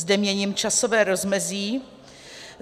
Zde měním časové rozmezí.